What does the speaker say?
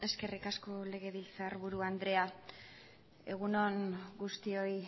eskerrik asko legebiltzarburu andrea egun on guztioi